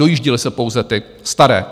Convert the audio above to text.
Dojížděly se pouze ty staré.